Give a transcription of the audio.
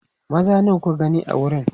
maza nawa kuka gani a wurin